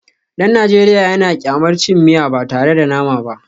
Dan Najeriya yana kyamar cin miya ba tare da nama ba